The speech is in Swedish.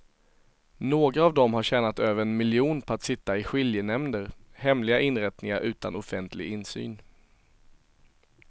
Några av dem har tjänat över en miljon på att sitta i skiljenämnder, hemliga inrättningar utan offentlig insyn.